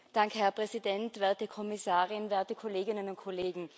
Herr Präsident, werte Kommissarin, werte Kolleginnen und Kollegen!